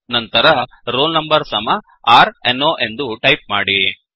ನಂತರ roll number ಸಮ r no ರ್ ನಂಬರ್ ಎಂದು ಟೈಪ್ ಮಾಡಿ